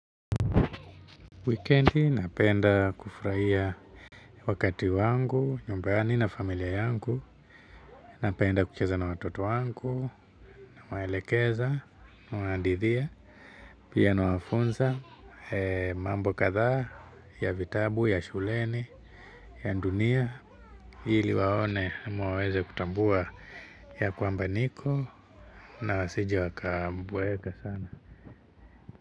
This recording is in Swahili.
Wikiendi napenda kufurahia wakati wangu, nyumbani na familia yangu, napenda kucheza na watoto wangu, nawaelekeza na wanaridhia pia nawafunza mambo kadhaa ya vitabu, ya shuleni, ya dunia ili waone ama waweze kutambua ya kwamba niko na wasije wakaboeka sana.